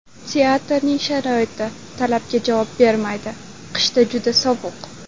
Teatrning sharoiti talabga javob bermaydi, qishda juda sovuq.